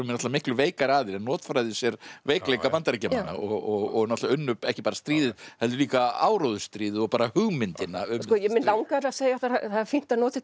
miklu veikari aðilinn en notfærðu sér veikleika Bandaríkjamanna og náttúrulega unnu ekki bara stríðið heldur líka áróðursstríðið og bara hugmyndina um mig langar að segja að það er fínt að nota þetta